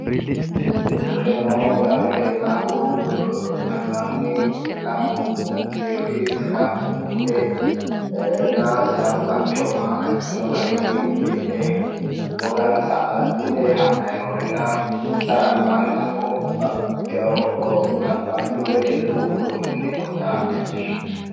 Kunino damo leelitahu Alibani lamu geeri sidaamu budde na sidaamu galichooma agadhino garini uddidhe wogansa agadhite hadhayi noorena insara alibaani damo babbaxitewo laballu wedellu uddunu mini noota leelishano